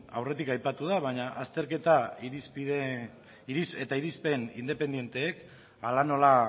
aurretik aipatu da baina azterketa eta irizpen independenteek hala nola